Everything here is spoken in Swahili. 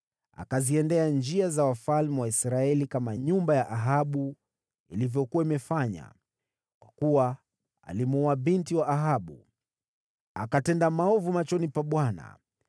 Akaenenda katika njia za wafalme wa Israeli, kama nyumba ya Ahabu ilivyokuwa imefanya, kwa kuwa alimwoa binti wa Ahabu. Akatenda maovu machoni pa Bwana .